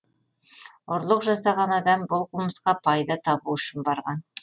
ұрлық жасаған адам бұл қылмысқа пайда табу үшін барған